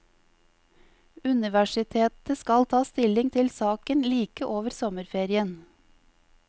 Universitetet skal ta stilling til saken like over sommerferien.